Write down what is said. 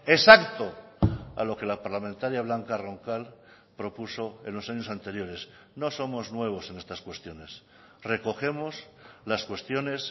exacto a lo que la parlamentaria blanca roncal propuso en los años anteriores no somos nuevos en estas cuestiones recogemos las cuestiones